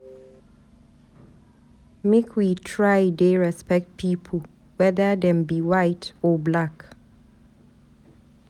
Make we try dey respect pipu whether dem be white or black.